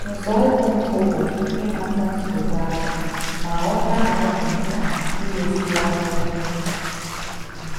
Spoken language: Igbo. Nzọụkwụ mbụ bụ ịmata nsogbu ahụ ma ghọta na ọ dị mkpa imeziwanye ihe.